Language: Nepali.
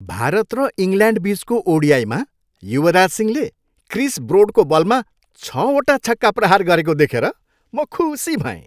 भारत र इङ्ल्यान्डबिचको ओडिआईमा युवराज सिंहले क्रिस ब्रोडको बलमा छवटा छक्का प्रहार गरेको देखेर म खुसी भएँ।